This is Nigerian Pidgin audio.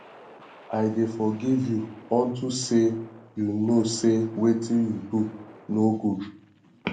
i dey forgive you unto say you know say wetin you do no good